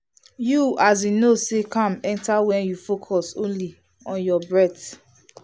you as in know say calm enter when you focus only on your breath.